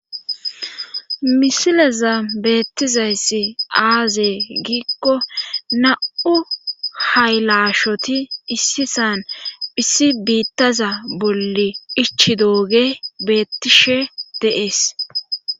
Misileza beettizayssi aazee giikko na7u haylashoti issisan hissi biittaza bolli ichi dooge beettishe deees.